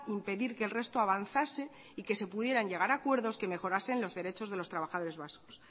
impedir que el resto avanzase y que se pudiera llegar a acuerdos que mejorase los derechos de los trabajadores vascos